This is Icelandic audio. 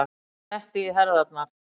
Hún setti í herðarnar.